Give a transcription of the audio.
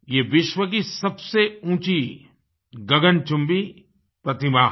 ये विश्व की सबसे ऊंची गगनचुम्बी प्रतिमा है